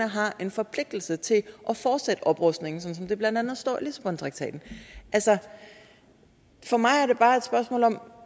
har en forpligtelse til at fortsætte oprustningen sådan som det blandt andet står i lissabontraktaten altså for mig er det bare et spørgsmål om